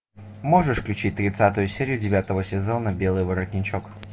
можешь включить тридцатую серию девятого сезона белый воротничок